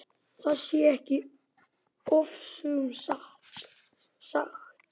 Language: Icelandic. Það sé ekki ofsögum sagt.